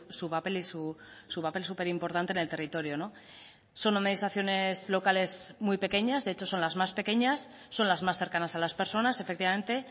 su papel su papel súper importante en el territorio son administraciones locales muy pequeñas de hecho son las más pequeñas son las más cercanas a las personas efectivamente